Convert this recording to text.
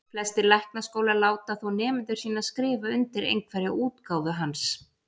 Flestir læknaskólar láta þó nemendur sína skrifa undir einhverja útgáfu hans.